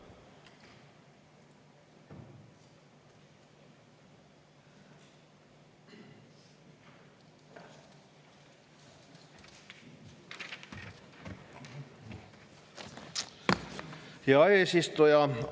Hea eesistuja!